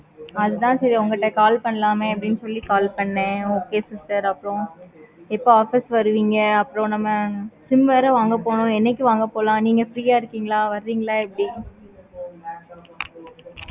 அது தன சரி உங்களுக்கு call பண்ணலாம். அப்படின்னு சொல்லி call panen. okay sister எப்ப office வருவீங்க. நம்ம sim வேற வாங்க போனும். என்னைக்கு வாங்க போறோம். busy ஆஹ் இருப்பிங்களா. வருவீங்களா? எப்படி